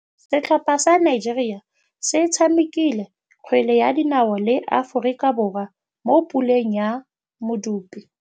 Setlhopha sa Nigeria se tshamekile kgwele ya dinaô le Aforika Borwa mo puleng ya medupe.